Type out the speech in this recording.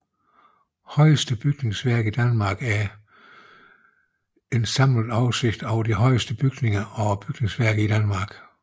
Højeste bygningsværker i Danmark er en samlet oversigt over de højeste bygninger og bygningsværker i Danmark